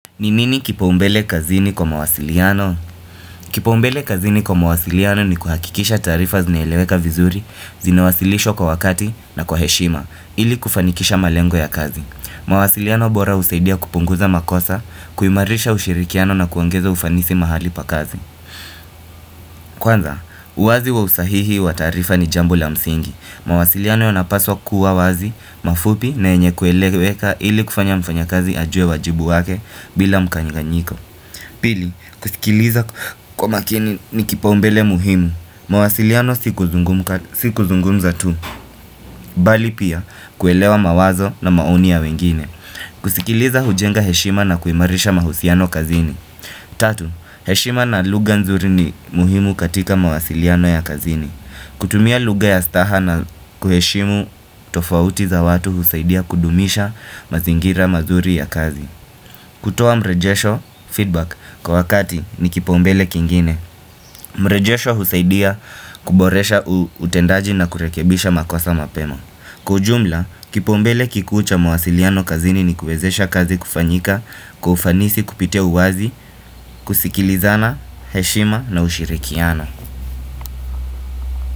Ni nini kipaumbele kazini kwa mawasiliano? Kipaumbele kazini kwa mawasiliano ni kuhakikisha taarifa zinaeleweka vizuri, zinawasilishwa kwa wakati na kwa heshima, ili kufanikisha malengo ya kazi. Mawasiliano bora husaidia kupunguza makosa, kuimarisha ushirikiano na kuongeza ufanisi mahali pa kazi. Kwanza, huwazi wa usahihi wa taarifa ni jambo la msingi. Mawasiliano yanapashwa kuwa wazi, mafupi na yenye kueleweka ili kufanya mfanya kazi ajue uwajibu wake bila mkanganyiko. Pili, kusikiliza kwa makini ni kipaumbele muhimu, mawasiliano si kuzungumza tu, bali pia kuelewa mawazo na maoni ya wengine. Kusikiliza hujenga heshima na kuimarisha mahusiano kazini. Tatu, heshima na lugha nzuri ni muhimu katika mawasiliano ya kazini. Kutumia lugha ya staha na kuheshimu tofauti za watu husaidia kudumisha mazingira mazuri ya kazi. Kutoa mrejesho feedback kwa wakati ni kipaumbele kingine. Mrejesho husaidia kuboresha utendaji na kurekebisha makosa mapema. Kujumla, kipombele kikuu cha mwasiliano kazini ni kuwezesha kazi kufanyika, kwa ufanisi kupitia uwazi, kusikilizana, heshima na ushirikiano.